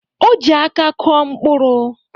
O ji aka kụọ mkpụrụ.